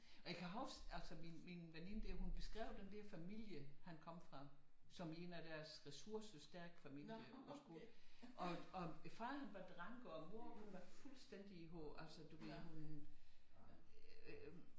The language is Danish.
Og jeg kan huske altså min veninde der hun beskrev den der familie han kom fra som en af deres ressourcestærke familier på skolen og faderen var dranker og moderen hun var fuldstændig i hovedet altså du ved hun øh